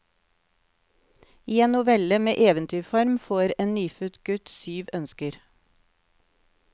I en novelle med eventyrform får en nyfødt gutt syv ønsker.